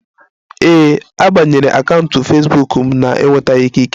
Ee, a banyere akaụntụ Fesbuk m na-enwetaghi ikike